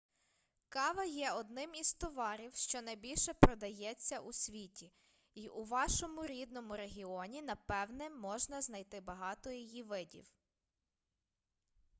кава є одним із товарів що найбільше продається у світі й у вашому рідному регіоні напевне можна знайти багато її видів